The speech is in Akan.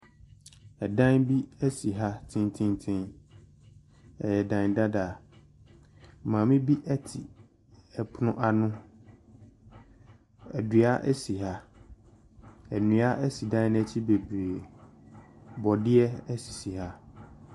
Dan bi si ha tententen. Ɛyɛ dan dadaa. Maame bi te pono ano. Dua si ha. Nnua si dan no akyi bebree. Borɔdeɛ sisi ha.